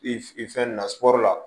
I fe i fɛn na sugɔro la